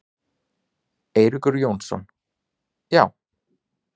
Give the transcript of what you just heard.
Eiríkur Jónsson: Já.